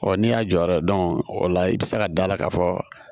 n'i y'a jɔyɔrɔ ye o la i bɛ se ka da la ka fɔ